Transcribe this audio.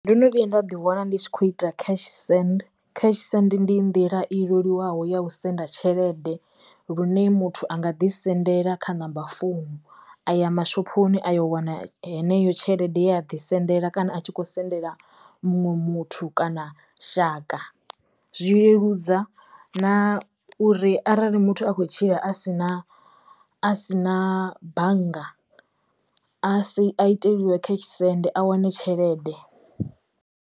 Ndo no vhuya nda ḓi wana ndi tshi kho ita cash send, cash send ndi nḓila i leluwaho ya u senda tshelede lune muthu anga ḓi sendela kha number founu a ya mashophoni a yo wana heneyo tshelede ya a ḓi sendela kana a tshi kho sendela muṅwe muthu kana shaka zwi leludza na uri arali muthu a khou tshila a si na a si na bannga a si a iteliwe cash send a wane tshelede.